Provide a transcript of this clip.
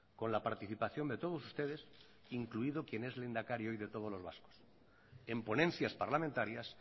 con la participación de todos ustedes incluido quien es lehendakari hoy de todos los vascos en ponencias parlamentarias